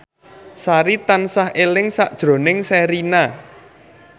Sari tansah eling sakjroning Sherina